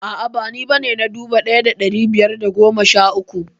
A'a ba ni bane na dubu ɗaya da ɗari biyar da goma sha uku